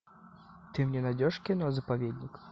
ты мне найдешь кино заповедник